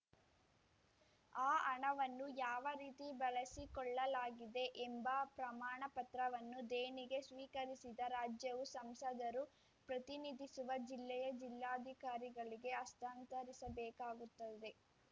ಆ ಹಣವನ್ನು ಯಾವ ರೀತಿ ಬಳಸಿಕೊಳ್ಳಲಾಗಿದೆ ಎಂಬ ಪ್ರಮಾಣಪತ್ರವನ್ನು ದೇಣಿಗೆ ಸ್ವೀಕರಿಸಿದ ರಾಜ್ಯವು ಸಂಸದರು ಪ್ರತಿನಿಧಿಸುವ ಜಿಲ್ಲೆಯ ಜಿಲ್ಲಾಧಿಕಾರಿಗಳಿಗೆ ಹಸ್ತಾಂತರಿಸಬೇಕಾಗುತ್ತದೆ